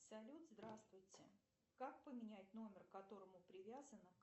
салют здравствуйте как поменять номер к которому привязана